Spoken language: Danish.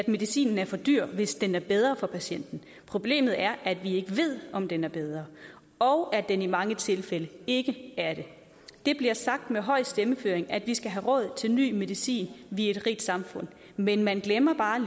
medicinen er for dyr hvis den er bedre for patienten problemet er at vi ikke ved om den er bedre og at den i mange tilfælde ikke er det det bliver sagt med høj stemmeføring at vi skal have råd til ny medicin vi er et rigt samfund men man glemmer bare